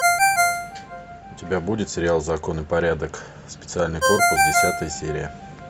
у тебя будет сериал закон и порядок специальный корпус десятая серия